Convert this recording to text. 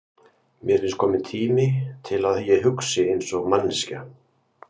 Mér finnst kominn tími til að ég hugsi einsog manneskja.